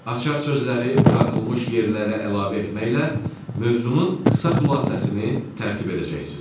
Açar sözləri buraxılmış yerlərə əlavə etməklə mövzunun qısa xülasəsini tərtib edəcəksiniz.